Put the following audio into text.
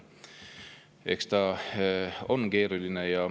Eks see ole keeruline.